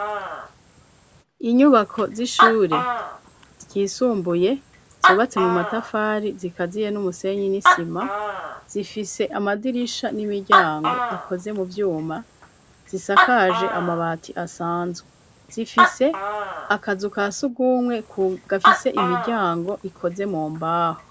Inyubako z'ishure ryisumbuye, zubatse mu matafari, zikaziye n'umusenyi n'isima, zifise amadirisha n'imiryango akoze mu vyuma, zisakaje amabati asanzwe, zifise akazu kasugumwe gafise imiryango ikoze mu mbaho.